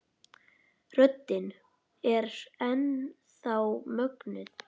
Röddin er enn þá mögnuð.